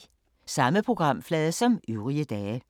Samme programflade som øvrige dage